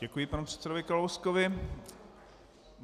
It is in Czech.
Děkuji panu předsedovi Kalouskovi.